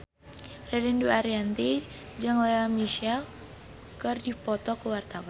Ririn Dwi Ariyanti jeung Lea Michele keur dipoto ku wartawan